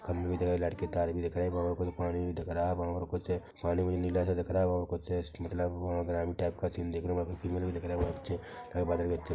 लड़के तारे भी दिख रहे है बहु कुछ पानी भी दिख रहा है बहुत कुछ पानी भी दिख रहा है बहुत कुछ पानी नीला- सा दिख रह है बहुत कुछ मतलब ग्राउन्ड टाइप का सीन भी दिख रहा है --